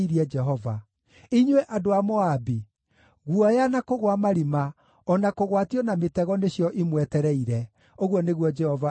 Inyuĩ andũ a Moabi, guoya, na kũgũa marima, o na kũgwatio na mĩtego nĩcio imwetereire,” ũguo nĩguo Jehova ekuuga.